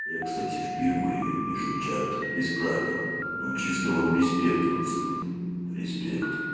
я кстати впервые вижу чат без правил ну чисто вам респект пацаны респект